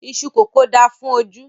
Iṣú kókò da fún ojú